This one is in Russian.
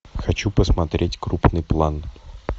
хочу посмотреть крупный план